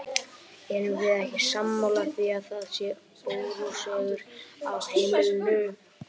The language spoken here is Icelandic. Erum við ekki sammála því að það sé óróaseggur á heimilinu!